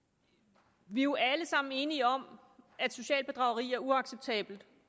vi er jo alle sammen enige om at socialt bedrageri er uacceptabelt